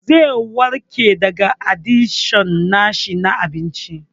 Zai warke daga adikshon na shi na abinci.